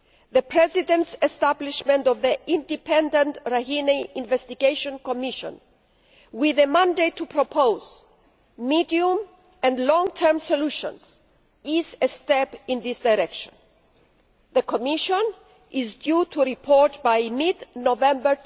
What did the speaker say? The President's establishment of the independent Rakhine Investigation Commission with a mandate to propose medium and long term solutions is a step in this direction. The Commission is due to report by mid November